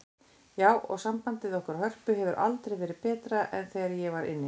Já, og sambandið okkar Hörpu hefur aldrei verið betra en þegar ég var inni.